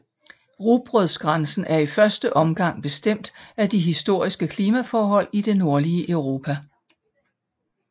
Rugbrødsgrænsen er i første omgang bestemt af de historiske klimaforhold i det nordlige Europa